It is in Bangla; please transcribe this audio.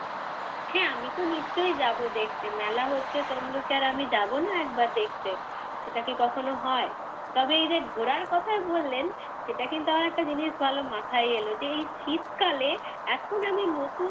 হ্যাঁ আমি তো নিশ্চয়ই যাব দেখতে, মেলা হচ্ছে তমলুক এ আর আমি যাব না একবার দেখতে? সেটা কি কখনো হয়। তবে এই যে ঘোরার কথায় বললেন সেটা কিন্তু আমার একটা জিনিস ভালো মাথায় এল। যে এই শীতকালে এখন আমি নতুন,